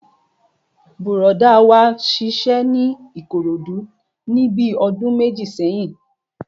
Bùrọ̀dá wa ṣiṣẹ́ ní Ìkòròdú níbi ọdún méjì sẹ́yìn